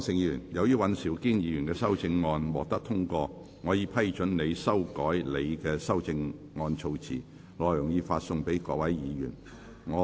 柯創盛議員，由於尹兆堅議員的修正案獲得通過，我已批准你修改你的修正案措辭，內容已發送各位議員。